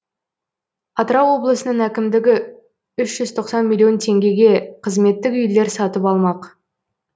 атырау облысының әкімдігі үш жүз тоқсан миллион теңгеге қызметтік үйлер сатып алмақ